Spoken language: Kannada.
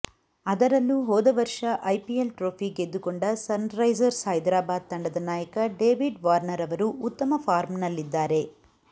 ಅದರಲ್ಲೂ ಹೋದ ವರ್ಷ ಐಪಿಎಲ್ ಟ್ರೋಫಿ ಗೆದ್ದುಕೊಂಡ ಸನ್ರೈಸರ್ಸ್ ಹೈದರಾಬಾದ್ ತಂಡದ ನಾಯಕ ಡೇವಿಡ್ ವಾರ್ನರ್ ಅವರು ಉತ್ತಮ ಫಾರ್ಮ್ನಲ್ಲಿದ್ದಾರೆ